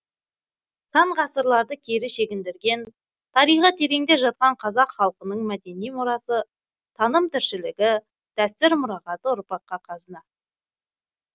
сан ғасырларды кері шегіндірген тарихы тереңде жатқан қазақ халқының мәдени мұрасы таным тіршілігі дәстүр мұрағаты ұрпаққа қазына